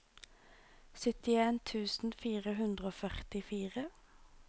syttien tusen fire hundre og førtifire